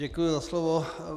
Děkuji za slovo.